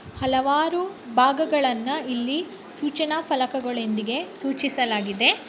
ಹಲವಾರು ಭಾಗಗಳನ್ನ ಇಲ್ಲಿ ಸೂಚನಾ ಫಲಕದಿಂದ ಸೂಚಿಸಲಾಗಿದೆ.